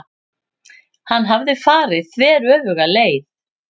Hann hafði farið þveröfuga leið.